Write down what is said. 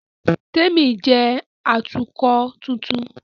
Témi jẹ́ Atukọ̀ tuntun